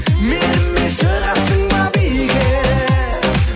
менімен шығасың ба биге